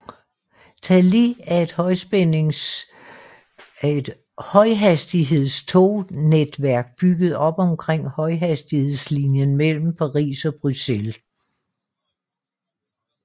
Thalys er et højhastighedstognetværk bygget op omkring højhastighedslinjen mellem Paris og Bruxelles